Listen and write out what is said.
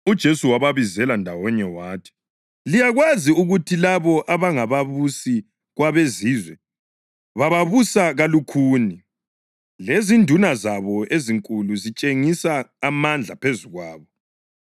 UJesu wababizela ndawonye wathi, “Liyakwazi ukuthi labo abangababusi kwabeZizwe bababusa kalukhuni, lezinduna zabo ezinkulu zitshengisa amandla phezu kwabo.